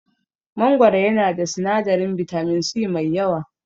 Mangoro yana da sinadarin bitamin C mai yawa.